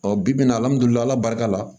Ɔ bi bi in na alihamudulila barika la